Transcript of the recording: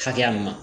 Hakɛya mun na